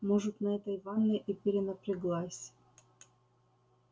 может на этой ванной и перенапряглась